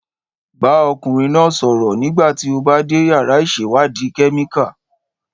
Bá ọkùnrin náà sọ̀rọ̀ nígbà tí o bá dé yàrá ìṣèwádìí kẹ́míkà